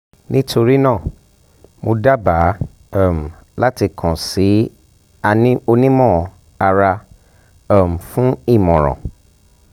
nitorina mo daba um lati kan si a onimọ-ara um fun imọran